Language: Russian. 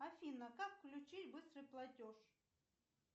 афина как включить быстрый платеж